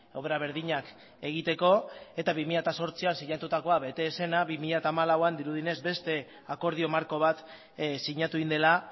obra berdinak egiteko eta bi mila zortzian sinatutakoa bete ez zena bi mila hamalauean dirudienez beste akordio marko bat sinatu egin dela